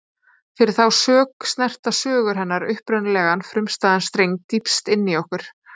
Fyrir þá sök snerta sögur hennar upprunalegan, frumstæðan streng dýpst inní okkur.